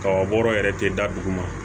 Kaba bɔra yɛrɛ ten da duguma